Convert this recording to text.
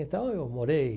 Então, eu morei...